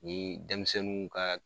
Ni denmisɛninw ka